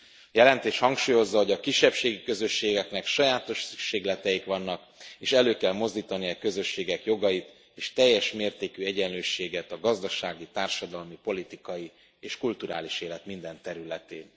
A jelentés hangsúlyozza, hogy a kisebbségi közösségeknek sajátos szükségleteik vannak, és elő kell mozdítani e közösségek jogait és teljes mértékű egyenlőségét a gazdasági, társadalmi, politikai és kulturális élet minden területén.